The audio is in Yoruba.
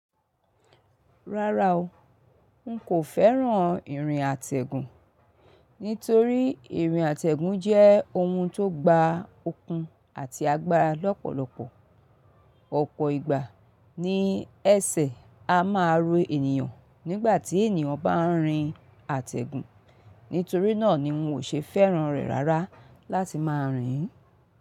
Rárá o, n kò fẹ́ràn ìrìn àtẹ̀gùn, nítorí ìrìn àtẹ̀gùn jẹ́ ohun tó gba okun àti agbára lọ́pọ̀lọpọ̀. Ọ̀pọ̀ ìgbà ní ẹ̀sẹ̀ a máa ro ènìyàn nígbà tí ènìyàn bá ń rin àtẹ̀gùn. Nítorí náà ni n ò ṣe fẹ́ràn rẹ̀ rárá láti máa rìn.